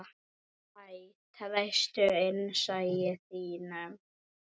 Hæ, treystu innsæi þínu.